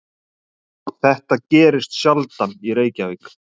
Þetta gerist sjaldan í Reykjavík.